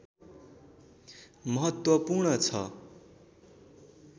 महत्त्वपूर्ण छ